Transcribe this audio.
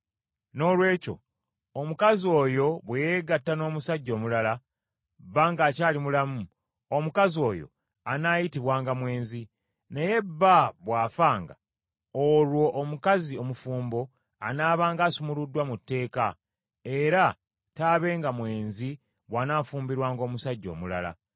Noolwekyo omukazi oyo bwe yeegatta n’omusajja omulala, bba ng’akyali mulamu, omukazi oyo anaayitibwanga mwenzi. Naye bba bw’afanga, olwo omukazi omufumbo anaabanga asumuluddwa mu tteeka, era taabenga mwenzi bw’anaafumbirwanga omusajja omulala.